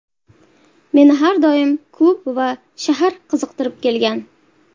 Meni har doim klub va shahar qiziqtirib kelgan”.